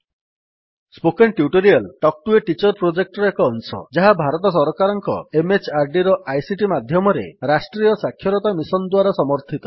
spoken tutorial talk to a teacher ପ୍ରୋଜେକ୍ଟର ଏକ ଅଂଶ ଯାହା ଭାରତ ସରକାରଙ୍କ MHRDର ଆଇସିଟି ମାଧ୍ୟମରେ ରାଷ୍ଟ୍ରୀୟ ସାକ୍ଷରତା ମିଶନ୍ ଦ୍ୱାରା ସମର୍ଥିତ